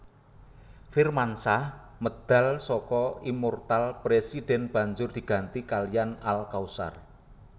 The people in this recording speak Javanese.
Firmansyah medal saka Immoortal President banjur diganti kaliyan Al Kautsar